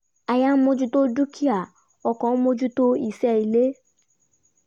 aya ń mojú dúkìá ọkọ ń mojú iṣẹ́ ilé